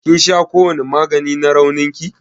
ƙin sha kowani magani na raunin ki?